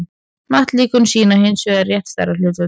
hnattlíkön sýna hins vegar rétt stærðarhlutföll